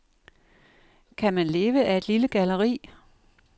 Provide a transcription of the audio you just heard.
Kan man leve af et lille galleri?